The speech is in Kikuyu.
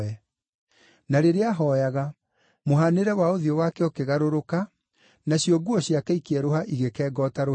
Na rĩrĩa ahooyaga, mũhaanĩre wa ũthiũ wake ũkĩgarũrũka, nacio nguo ciake ikĩerũha igĩkenga o ta rũheni.